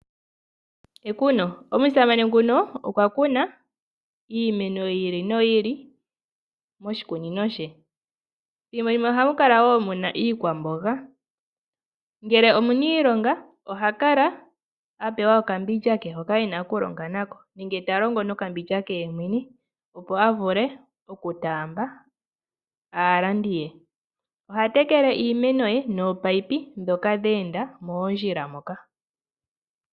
Ekuno Omusamane nguka okwa kuna iimeno yi ili noyi ili moshikunino she. Ethimbo limwe ohamu kala wo mu na iikwamboga, ngele omuniilonga oha kala a pewa okambindja ke hoka e na okulonga na ko, nenge ta longo nokambindja ke yemwene, opo a vule okutaamba aalandi ye. Oha tekele iimeno ye noopayipi ndhoka dhe enda moondjila moka.